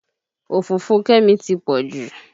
Òfófó Kẹ́mi ti pọ̀ jù